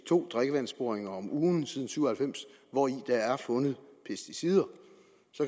to drikkevandsboringer om ugen siden nitten syv og halvfems hvori der er fundet pesticider